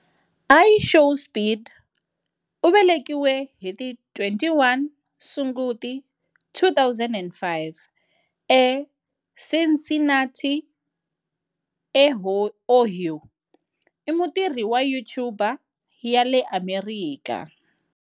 IShowSpeed, u velekiwe hi ti 21 Sunguti 2005, eCincinnati, eOhio, i mutirhi wa YouTuber ya le Amerikha.